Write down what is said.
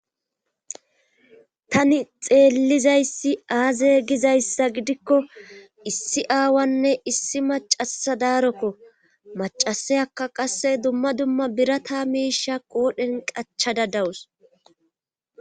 tani xeellizayssi aazey gizayssa gidikko issi aawanne issi macasa daarokko macaseyakka qasse dumma dumma birata miisha qoodhen qachada dawus